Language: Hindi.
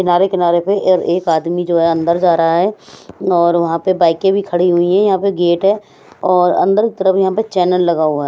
किनारे किनारे पे और एक आदमी जो है अंदर जा रहा है और वहां पर बाईके भी खड़ी हुई हैं यहां पे गेट है और अंदर की तरफ यहां पे चैनल लगा हुआ है।